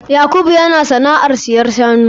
Yakubu yana sana'ar sayar da shanu.